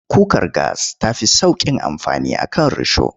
Kukar gas ta fi sauƙin amfani a kan risho.